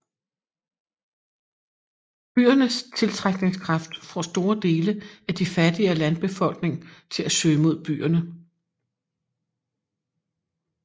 Byernes tiltrækningskraft får store dele af de fattigere landbefolkning til at søge mod byerne